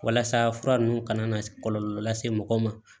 Walasa fura ninnu kana na kɔlɔlɔ lase mɔgɔw ma